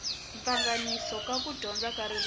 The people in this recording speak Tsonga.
pfanganisa ku dyondza ka ririmi